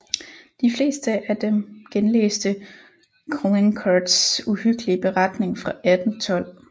De fleste af dem genlæste Caulaincourts uhyggelige beretning fra 1812